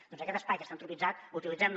doncs aquest espai que està antropitzat utilitzem lo